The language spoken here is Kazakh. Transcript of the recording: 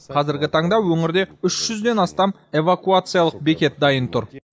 қазіргі таңда өңірде үш жүзден астам эвакуациялық бекет дайын тұр